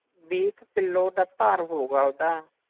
ਵੀਹ ਕ ਕਿੱਲੋ ਦਾ ਭਰ ਹੋਊਗਾ ਓਦਾਂ